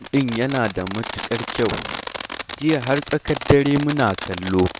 Fim ɗin yana da matuƙar kyau, jiya har tsakar dare muna kallo